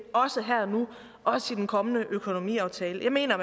også her og nu også i den kommende økonomiaftale jeg mener